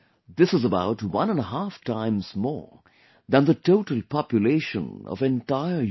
This is about one and a half times more than the total population of entire Europe